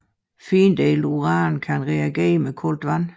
Findelt uran kan reagere med koldt vand